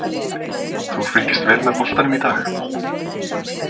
Þú fylgist vel með boltanum í dag?